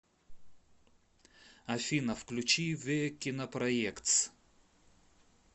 афина включи ве кинопроектс